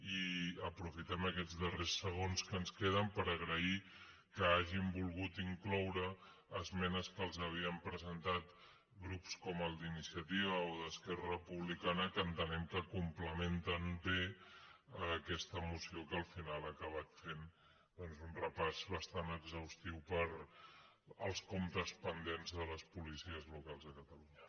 i aprofitem aquests darrers segons que ens queden per agrair que hagin volgut incloure esmenes que els havien presentat grups com el d’iniciativa o d’esquerra republicana que entenem que complementen bé aquesta moció que al final ha acabat fent doncs un repàs bastant exhaustiu pels comptes pendents de les policies locals a catalunya